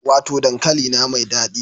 Wato dankalina mai dadi